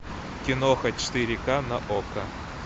киноха четыре ка на окко